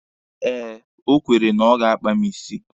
Eh, o kwere na ọ ga-akpa mụ isi.